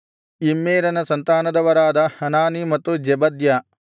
ಇಮ್ಮೇರನ ಸಂತಾನದವರಾದ ಹನಾನೀ ಮತ್ತು ಜೆಬದ್ಯ